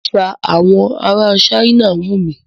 Àṣà àwọn ará China wù mí.